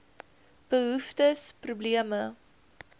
behoeftes probleme